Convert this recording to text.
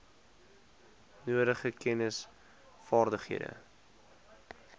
nodige kennis vaardighede